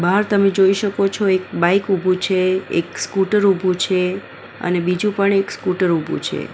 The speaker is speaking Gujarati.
બાહર તમે જોઈ શકો છો એક બાઈક ઊભું છે એક સ્કૂટર ઊભું છે અને બીજું પણ એક સ્કૂટર ઊભું છે.